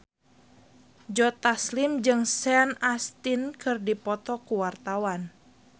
Joe Taslim jeung Sean Astin keur dipoto ku wartawan